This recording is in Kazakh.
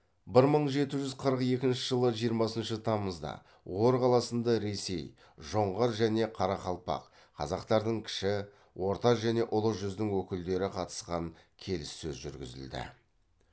бір мың жеті жүз қырық екінші жылы жиырмасыншы тамызда ор қаласында ресей жоңғар және қарақалпақ қазақтардың кіші орта және ұлы жүздің өкілдері қатысқан келіссөз жүргізілді